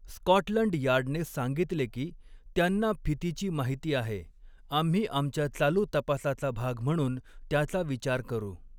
Scotland यार्डने सांगितले की, त्यांना 'फितीची माहिती आहे, आम्ही आमच्या चालू तपासाचा भाग म्हणून त्याचा विचार करू'.